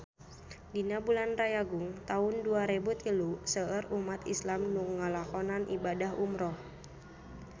Dina bulan Rayagung taun dua rebu tilu seueur umat islam nu ngalakonan ibadah umrah